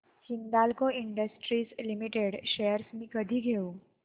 Hindalco industries limited shares मी कधी घेऊ